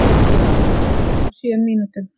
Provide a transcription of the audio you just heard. Fjögur mörk á sjö mínútum!